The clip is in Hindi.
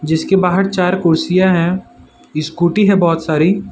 जिसके बाहर चार कुर्सियां है स्कुटी है बहोत सारी --